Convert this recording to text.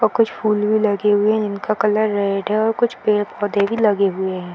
और कुछ फूल भी लगे हुए है जिनका कलर रेड है और कुछ पेड़-पौधे भी लगे हुए है।